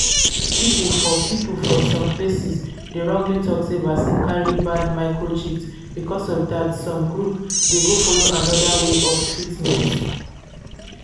people for people for some places dey wrongly talk sey vaccine carrybad microchips because of that some group.dey go follow another way of treatment.